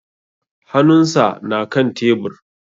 Hanun sa na kan tebur